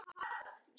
Þín Thelma.